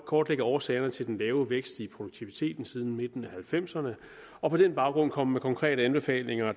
kortlægge årsagerne til den lave vækst i produktiviteten siden midten af nitten halvfemserne og på den baggrund komme med konkrete anbefalinger